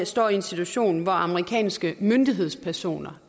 står i en situation hvor amerikanske myndighedspersoner